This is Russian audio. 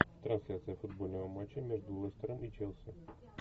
трансляция футбольного матча между лестером и челси